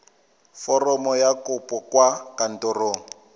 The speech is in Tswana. foromo ya kopo kwa kantorong